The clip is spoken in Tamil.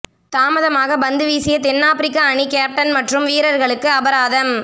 தாமதமாக பந்துவீசிய தென் ஆப்ரிக்க அணி கேப்டன் மற்றும் வீரர்களுக்கு அபராதம்